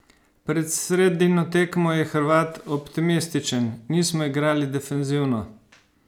Pred sredino tekmo je Hrvat optimističen: "Nismo igrali defenzivno.